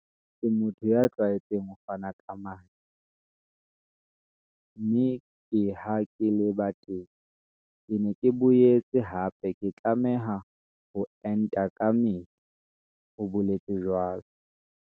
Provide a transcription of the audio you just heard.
"Ke motho ya tlwaetseng ho fana ka madi, mme ke ha ke leba teng. Ke ne ke boetse hape ke tlameha ho enta kamehla," o boletse jwalo.